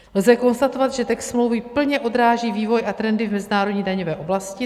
Lze konstatovat, že text smlouvy plně odráží vývoj a trendy v mezinárodní daňové oblasti.